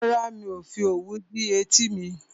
Rárá, mi ò fi òwú dí etí mi